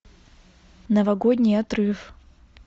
новогодний отрыв